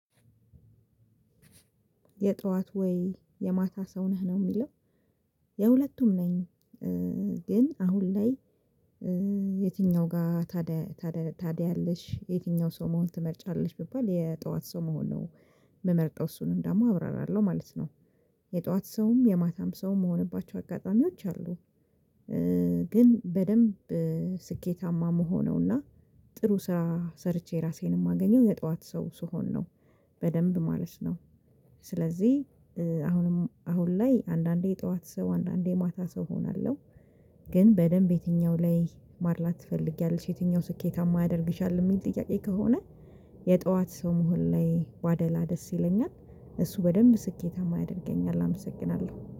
የጧት ወይ የማታ ሰው ነህ ነው የሚለው የሁለቱም ነኝ። ግን አሁን ላይ። የትኛው ጋር ታዲያ ታዲያ ታዲያ አለሽ? የትኛው ሰው መሆን ትመርጫለች ብባል የጠዋት ሰው መሆን ነው? የምመርጠው እሱንም ደግሞ አብራራለሁ ማለት ነው። የጠዋት ሰውም የማታም ሰውም መሆንባቸው አጋጣሚዎች አሉ። ግን በደንብ ስኬታማ መሆኑ እና ጥሩ ስራ ሰርቼ ራሴን የማገኘው የጧት ሰው ስሆን ነው። በደንብ ማለት ነው። ስለዚህ አሁንም አሁን ላይ አንዳንዴ የጠዋት ሰው አንዳንዴ የማታ ሰው እሆናለሁ። ግን በደንብ የትኛው ላይ ማድላት ትፈልጊያለሽ የትኛው ስኬታማ ያደርግሻል የሚል ጥያቄ ከሆነ? የጧት ሰው መሆን ላይ ባደላ ደስ ይለኛል እሱ በደንብ ስኬታማ ያደርገኛል። አመሰግናለሁ